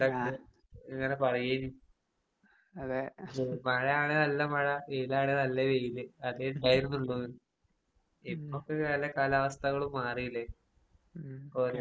ആഹ് അതെ ഉം ഉം